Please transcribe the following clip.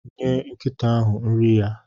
Nye nkịta ahụ nri ya.